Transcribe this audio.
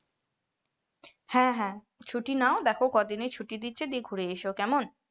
হ্যাঁ হ্যাঁ ছুটি নাও দেখো কদিনের ছুটি দিচ্ছে, দিয়ে ঘুরে এসো কেমন?